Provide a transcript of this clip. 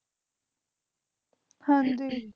ਹਨਜੀ